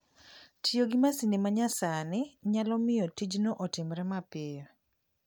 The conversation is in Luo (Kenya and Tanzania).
Tiyo gi masinde ma nyasani nyalo miyo tijno otimre mapiyo.